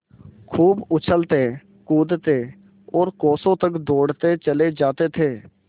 खूब उछलतेकूदते और कोसों तक दौड़ते चले जाते थे